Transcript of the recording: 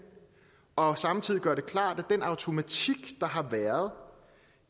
og samtidig gøre det klart at den automatik der har været